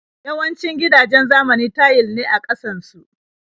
Yawancin gidajen zamani tayil ne a ƙasan su.